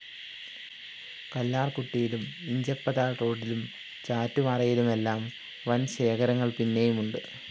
കല്ലാര്‍കുട്ടിയിലും ഇഞ്ചപ്പതാല്‍ റോഡിലും ചാറ്റുപാറയിലുമെല്ലാം വന്‍ ശേഖരങ്ങള്‍ പിന്നെയുമുണ്ട്